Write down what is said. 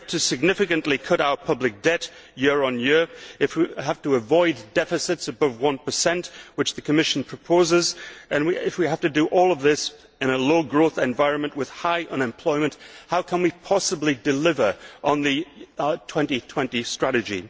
If we have to significantly cut our public debt year on year, if we have to avoid deficits above 1, which the Commission proposes, and if we have to do all of this in a low growth environment with high unemployment, how can we possibly deliver on the 2020 Strategy?